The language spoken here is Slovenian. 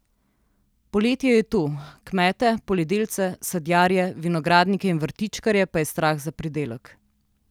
Poletje je tu, kmete, poljedelce, sadjarje, vinogradnike in vrtičkarje pa je strah za pridelek.